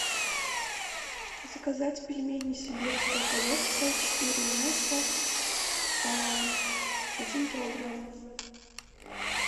заказать пельмени сибирская коллекция четыре мяса один килограмм